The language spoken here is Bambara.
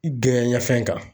i ka fɛn kan.